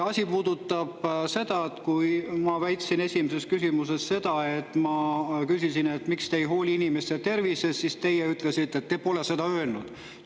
Asi puudutab seda, et kui ma küsisin täna esimeses küsimuses seda, et miks te ei hooli inimeste tervisest, siis teie ütlesite, et te pole seda öelnud.